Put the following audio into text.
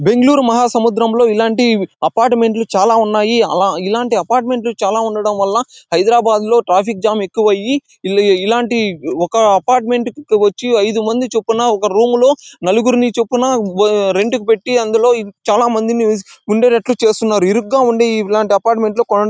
బెంగళూరు మహాసముద్రంలో ఇలాంటి అపార్ట్మెంట్ లు చాలా ఉన్నాయి. అల ఇలా ఇలాంటి అపార్ట్మెంట్ లు చాలా ఉండటం వల్ల హైదరాబాదులో ట్రాఫిక్ జామ్ ఎక్కువ అయ్యి ఒక అపార్ట్మెంట్ కి వచ్చి ఐదు మందికి చొప్పున ఒక రూమ్ లో నలుగురికి చొప్పున రెంట్ కి పెట్టి అందులో చాలా మందిని ఉండేటట్టు చేస్తున్నారు. ఇరుకుగా ఉండే ఇలా అపార్ట్మెంట్ లో